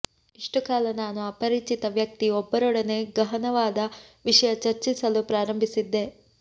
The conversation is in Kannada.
ಇಷ್ಟು ಕಾಲ ನಾನು ಅಪರಿಚಿತ ವ್ಯಕ್ತಿ ಒಬ್ಬರೊಡನೆ ಗಹನವಾದ ವಿಷಯ ಚರ್ಚಿಸಲು ಪ್ರಾರಂಭಿಸಿದ್ದೆ